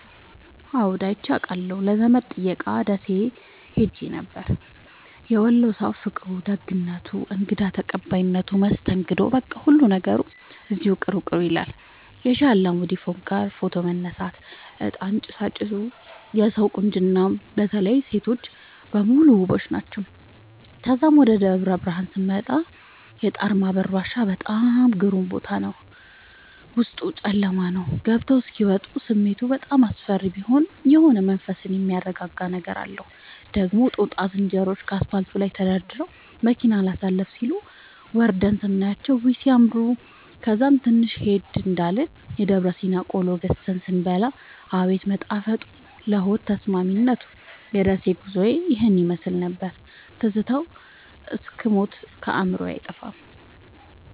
አዎድ አይቼ አቃለሁ ለዘመድ ጥየቃ ደሴ ኸሄ ነበር። የወሎ ሠዉ ፍቅሩ፣ ደግነቱ፣ እንግዳ ተቀባይነቱ መስተንግዶዉ በቃ ሁሉ ነገሩ እዚያዉ ቅሩ ቅሩ ይላል። የሼህ አላሙዲን ፎቅጋ ፎቶ መነሳት፤ እጣን ጭሣጭሡ የሠዉ ቁንጅና በተለይ ሤቶቹ በሙሉ ዉቦች ናቸዉ። ተዛም ወደ ደብረብርሀን ስመጣ የጣርማበር ዋሻ በጣም ግሩም ቦታ ነበር፤ ዉስጡ ጨለማ ነዉ ገብተዉ እስኪ ወጡ ስሜቱ በጣም አስፈሪ ቢሆንም የሆነ መንፈስን የሚያድስ ነገር አለዉ። ደግሞ ጦጣ ዝንሮዎቹ ከአስፓልቱ ላይ ተደርድረዉ መኪና አላሣልፍም ሢሉ፤ ወርደን ስናያቸዉ ዉይ! ሢያምሩ። ከዛም ትንሽ ሄድ እንዳልን የደብረሲና ቆሎ ገዝተን ስንበላ አቤት መጣፈጡ ለሆድ ተስማሚነቱ። የደሴ ጉዞዬ ይህን ይመሥል ነበር። ትዝታዉ እስክ ሞት ከአዕምሮየ አይጠፋም።